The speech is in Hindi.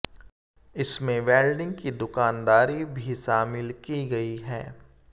इसमंे वेल्डिंग की दुकानदारी भी शामिल की गई है